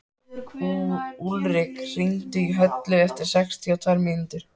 Úlrik, hringdu í Höllu eftir sextíu og tvær mínútur.